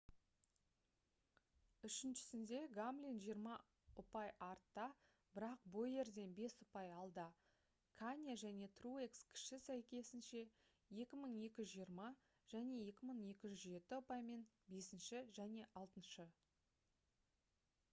үшіншісінде гамлин жиырма ұпай артта бірақ бойерден бес ұпай алда кане және труекс кіші сәйкесінше 2220 және 2207 ұпаймен бесінші және алтыншы